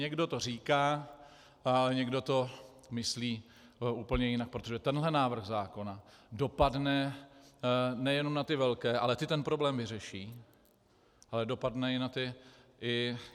Někdo to říká a někdo to myslí úplně jinak, protože tenhle návrh zákona dopadne nejenom na ty velké, ale ty ten problém vyřeší, ale dopadne i na ty malé.